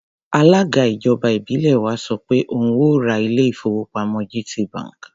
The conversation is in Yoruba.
Alága ìjọba ìbílẹ̀ wa sọ pé òun ó ò ra ilé-ìfowópamọ́ GTB.